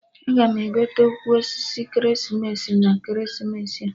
Aga m egote ukwu osisi ekeresimesi na ekeresimesi a